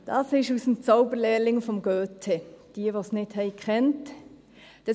» Das ist aus dem «Zauberlehrling» von Goethe, für jene, die es nicht gekannt haben.